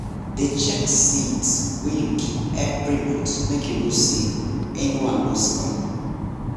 dey check seeds wey you keep every month make you know say anyone no spoil